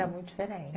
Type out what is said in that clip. Era muito diferente.